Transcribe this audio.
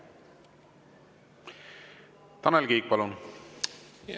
Tanel Kiik, palun!